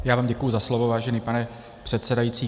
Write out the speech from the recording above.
Já vám děkuji za slovo, vážený pane předsedající.